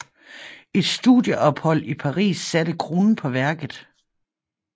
Et studieophold i Paris satte kronen på værket